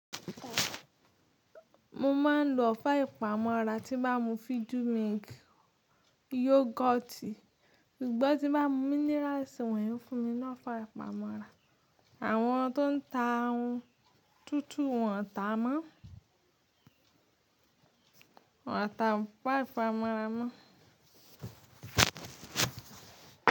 Mo máa ń lo ọ̀fẹ́ ìpamọ́ra tí bá n mu Fiju milk, yoghurti, ṣùgbọ́n tí bá mu minerals wọ̀nyí fún mi lofá ìpamọ́ra. Àwọn tó ń ta ohun tútù wọn ta mọ́, wọ́n ò ta ọ̀fá pamọ́ra mọ́